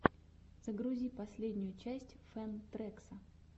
загрузи последнюю часть фэн трэкса